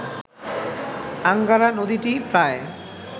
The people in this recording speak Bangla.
আঙ্গারা নদীটি প্রায়